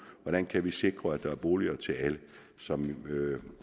hvordan kan vi sikre at der er boliger til alle som